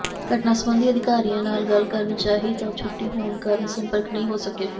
ਘਟਨਾ ਸਬੰਧੀ ਅਧਿਕਾਰੀਆਂ ਨਾਲ ਗੱਲ ਕਰਨੀ ਚਾਹੀ ਤਾਂ ਛੁੱਟੀ ਹੋਣ ਕਾਰਨ ਸੰਪਰਕ ਨਹੀਂ ਹੋ ਸਕਿਆ